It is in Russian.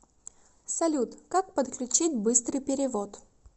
салют как подключить быстрый перевод